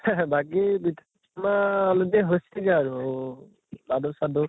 বাকী পি পনা already হৈছেগে আৰু লাডু চাডু